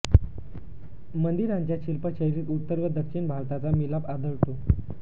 मंदिरांच्या शिल्पशैलीत उत्तर व दक्षिण भारताचा मिलाप आढळतो